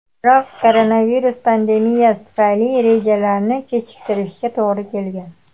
Biroq koronavirus pandemiyasi tufayli rejalarni kechiktirishga to‘g‘ri kelgan.